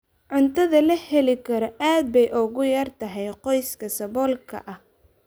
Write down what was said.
Cuntada la heli karo aad bay ugu yar tahay qoysaska saboolka ah.